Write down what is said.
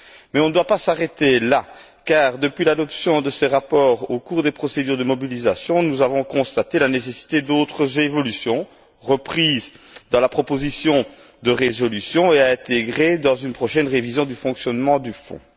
Mais on ne doit pas s'arrêter là car, depuis l'adoption de ces rapports au cours des procédures de mobilisation, nous avons constaté la nécessité d'autres évolutions reprises dans la proposition de résolution et à intégrer dans une prochaine révision du fonctionnement du Fonds.